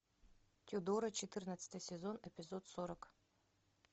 тюдоры четырнадцатый сезон эпизод сорок